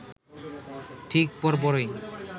ঠিক পর পরই